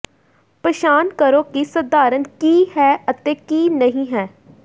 ਪਛਾਣ ਕਰੋ ਕਿ ਸਧਾਰਨ ਕੀ ਹੈ ਅਤੇ ਕੀ ਨਹੀਂ ਹੈ